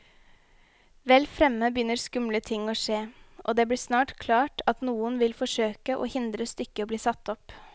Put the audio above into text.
Vel fremme begynner skumle ting å skje, og det blir snart klart at noen vil forsøke å hindre stykket i bli satt opp.